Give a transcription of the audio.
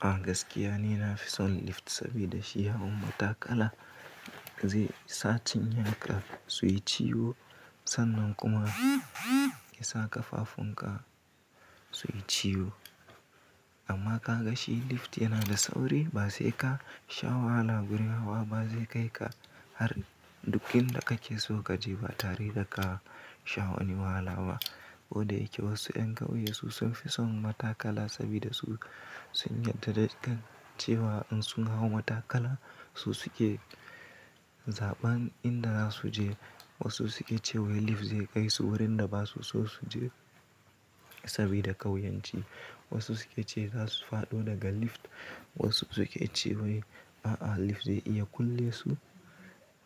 A gaskiya ni na fi son lift sabida shi ya hau matakala zai sa cinyanka suyi ciwo sannan kuma ya saka fafun ka suyi ciwo. Amma ka ga shi lift yana da sauri ba zai ka sha wahala gurin hawa ba, zai kai ka har duk inda kake so ka je ba tare da ka sha wani wahala ba. Koda yake wasu ƴan ƙauye su sun fi son matakala sabida su sun yarda da cewa in sun hau matakala su suke zaɓan inda za su je. Wasu suke cewa lift zai kai su wurin da ba su so su je sabida ƙauyanci. Wasu suke cewa za su faɗo daga lift, wasu suke cewa a'a lift zai iya kulle su.